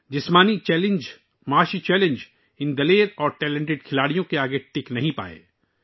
طبعی چیلنج، معاشی چیلنج ان بہادر اور باصلاحیت کھلاڑیوں کو روک نہیں سکے